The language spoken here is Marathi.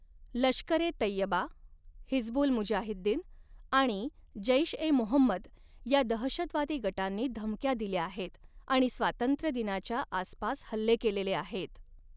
लष्कर ए तैयबा, हिजबुल मुजाहिद्दीन आणि जैश ए मोहम्मद या दहशतवादी गटांनी धमक्या दिल्या आहेत आणि स्वातंत्र्यदिनाच्या आसपास हल्ले केलेले आहेत.